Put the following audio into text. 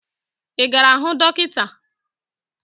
Ị gara hụ dọkịta?